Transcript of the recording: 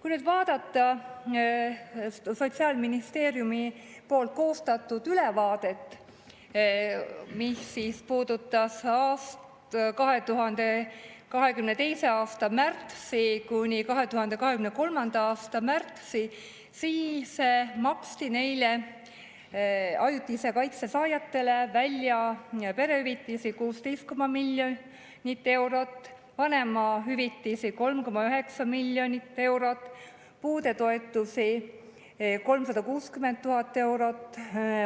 Kui nüüd vaadata Sotsiaalministeeriumi koostatud ülevaadet, mis hõlmas perioodi 2022. aasta märtsist kuni 2023. aasta märtsini, siis maksti neile ajutise kaitse saajatele välja perehüvitisi 16,5 miljonit eurot, vanemahüvitisi 3,9 miljonit eurot, puudetoetusi 360 000 eurot,